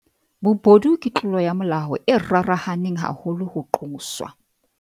Bobodu ke tlolo ya molao e rarahaneng haholo ho qoswa.